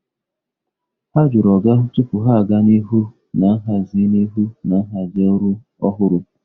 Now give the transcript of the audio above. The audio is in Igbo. Ha jụrụ oga tupu ha aga n’ihu na nhazi n’ihu na nhazi ọrụ ọhụrụ.